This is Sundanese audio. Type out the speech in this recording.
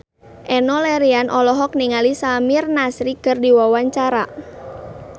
Enno Lerian olohok ningali Samir Nasri keur diwawancara